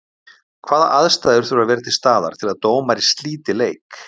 Hvaða aðstæður þurfa að vera til staðar til að dómari slíti leik?